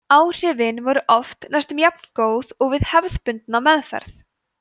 áhrifin voru oft næstum jafngóð og við hefðbundna meðferð